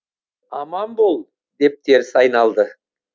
аман бол деп теріс айналды